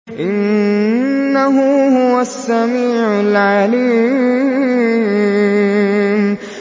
إِنَّهُ هُوَ السَّمِيعُ الْعَلِيمُ